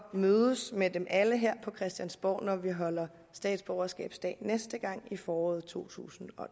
mødes med dem alle her på christiansborg når vi holder statsborgerskabsdag næste gang i foråret totusinde og